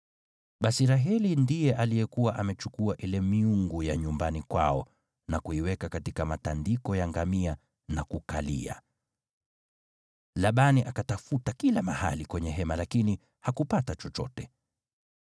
Basi Raheli ndiye alikuwa amechukua ile miungu ya nyumbani kwao na kuiweka katika matandiko ya ngamia na kukalia. Labani akatafuta kila mahali kwenye hema lakini hakupata chochote.